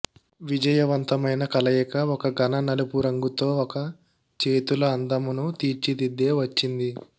విజయవంతమైన కలయిక ఒక ఘన నలుపు రంగు తో ఒక చేతుల అందమును తీర్చిదిద్దే వచ్చింది